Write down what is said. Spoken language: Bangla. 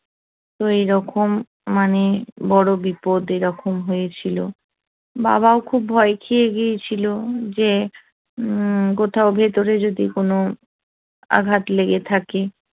তো এইরকম মানে বড় বিপদ এরকম হয়েছিল বাবাও খুব ভয় খেয়ে গিয়েছিল যে কোথাও ভেতরে যদি কোন আঘাত লেগে থাকে তাহলে